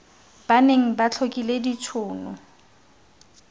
ba neng ba tlhokile ditshono